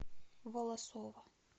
волосово